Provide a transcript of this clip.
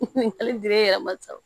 Hali bi e yɛrɛ ma sa